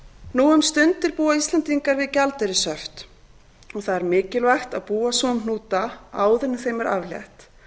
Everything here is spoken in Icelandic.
nú um stundir búa íslendingar við gjaldeyrishöft og það er mikilvægt að búa svo um hnúta áður en þeim er aflétt